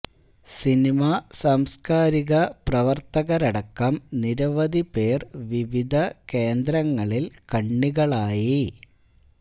cinema സംസ്കാരിക പ്രവര്ത്തകരടക്കം നിരവധി പേര് വിവിധ കേന്ദ്രങ്ങളില് കണ്ണികളായി